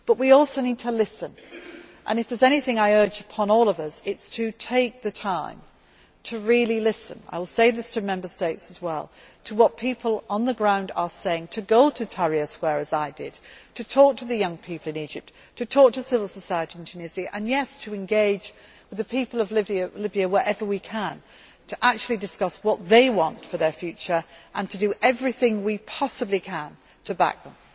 us. But we also need to listen, and if there is anything I urge upon all of us it is to take the time to really listen I will say this to Member States as well to what people on the ground are saying, to go to Tahrir Square as I did, to talk to the young people in Egypt, to talk to civil society in Tunisia and to engage with the people of Libya wherever we can to discuss what they want for their future and do everything we possibly can to back them.